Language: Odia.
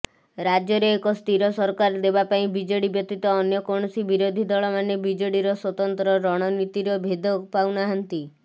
ରାଜ୍ୟରେ ଏକ ସ୍ଥିରସରକାର ଦେବାପାଇଁ ବିଜେଡି ବ୍ୟତୀତ ଅନ୍ୟକୌଣସି ବିରୋଧୀଦଳମାନେ ବିଜେଡିର ସ୍ୱତନ୍ତ୍ର ରଣନୀତିର ଭେଦ ପାଉନାହାନ୍ତି